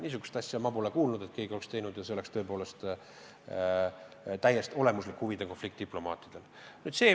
Niisugust asja ma pole kuulnud, et keegi oleks teinud, ja see oleks tõepoolest täiesti olemuslik huvide konflikt diplomaatide puhul.